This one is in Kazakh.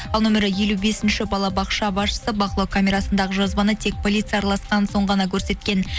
ал нөмірі елу бесінші балабақша басшысы бақылау камерасындағы жазбаны тек полиция араласқан соң ғана көрсеткен